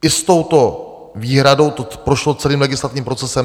I s touto výhradou to prošlo celým legislativním procesem.